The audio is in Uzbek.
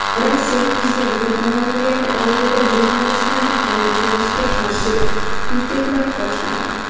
Rossiya prezidenti ma’muriyati oldida jurnalistlarning kaltaklanishiga qarshi piketlar boshlandi.